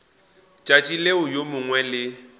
tšatši leo yo mongwe le